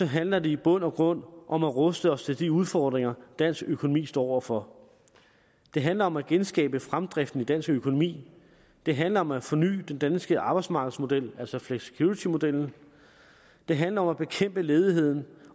handler det i bund og grund om at ruste os til de udfordringer dansk økonomi står over for det handler om at genskabe fremdriften i dansk økonomi det handler om at forny den danske arbejdsmarkedsmodel altså flexicuritymodellen det handler om at bekæmpe ledigheden